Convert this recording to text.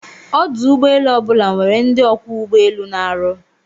Ọdụ ụgbọ elu obula nwere ndi Ọkwọ ugbo elu na-arụ